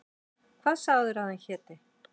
Hvað sagðirðu að hann héti?